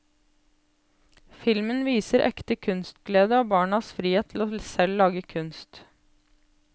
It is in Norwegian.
Filmen viser ekte kunstglede og barnas frihet til selv å lage kunst.